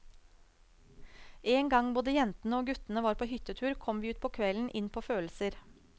En gang både jentene og guttene var på hyttetur, kom vi utpå kvelden inn på følelser.